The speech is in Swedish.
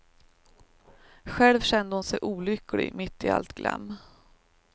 Själv kände hon sig olycklig mitt i allt glam.